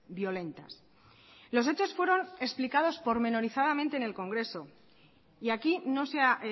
violentas los hechos fueron explicados pormenorizadamente en el congreso y aquí no se ha